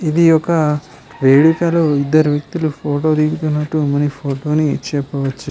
ఇది ఒక వేడుకలో వ్యక్తులు ఫోటో లు దిగుతున్నట్టు మనకి ఫోటో ఇచ్చినట్టున్నారు